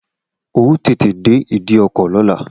O óò tètè dé ìdíkọ̀ lọ́la!